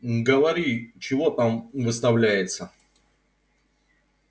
говори чего там выставляется